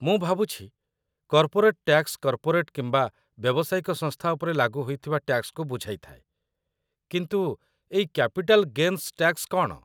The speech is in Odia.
ମୁଁ ଭାବୁଛି କର୍ପୋରେଟ୍‌ ଟ୍ୟାକ୍ସ କର୍ପୋରେଟ୍‌ କିମ୍ବା ବ୍ୟବସାୟିକ ସଂସ୍ଥା ଉପରେ ଲାଗୁ ହୋଇଥିବା ଟ୍ୟାକ୍ସ କୁ ବୁଝାଇ ଥାଏ, କିନ୍ତୁ ଏଇ କ୍ୟାପିଟାଲ୍ ଗେନ୍ସ ଟ୍ୟାକ୍ସ କ'ଣ?